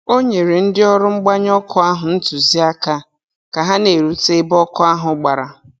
O nyere ndị ọrụ mgbanyụ ọkụ ahụ ntụziaka ka ha na-erute ebe ọkụ ahụ gbara.